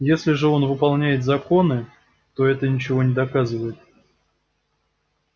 если же он выполняет законы то это ничего не доказывает